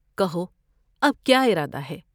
کہو اب کیا ارادہ ہے ؟